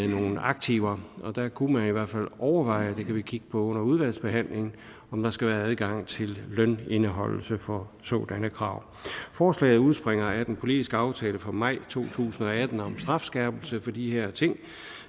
nogen aktiver og der kunne man i hvert fald overveje det kan vi kigge på under udvalgsbehandlingen om der skal være adgang til lønindeholdelse for sådanne krav forslaget udspringer af den politiske aftale fra maj to tusind og atten om en strafskærpelse for de her ting